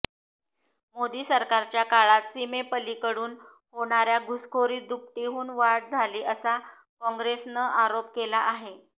मोदी सरकारच्या काळात सीमेपलीकडून होणाऱ्या घुसखोरीत दुपटीहून वाढ झाली असा काँग्रेसनं आरोप केला आहे